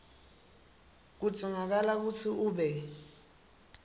kudzingakala kutsi ube